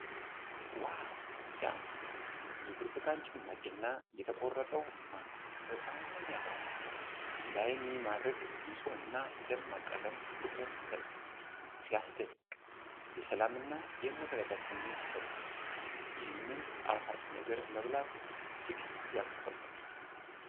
ዋው ሲያምር! የብርቱካን ጭማቂ እና የተቆረጠው ማንጎ በጣም ያጓጓል። ለዓይን የሚማርክ ንጹህና ደማቅ ቀለም ፍቅርን ይፈጥራል። ሲያስደንቅ! የሰላም እና የመረጋጋት ስሜትን ይሰጣል። ይህን ጣፋጭ ነገር መብላት እጅግ ያስጓጓል።